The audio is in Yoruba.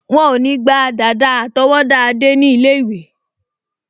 Wọ́n ò ní gba dàda àtọwọ́dá Adé ní ilé-ìwé